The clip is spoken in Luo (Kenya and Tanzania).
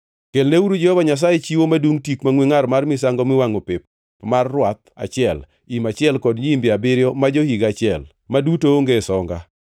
Kelneuru Jehova Nyasaye chiwo madungʼ tik mangʼwe ngʼar mar misango miwangʼo pep mar rwath achiel, im achiel kod nyiimbe abiriyo ma jo-higa achiel, ma duto onge songa.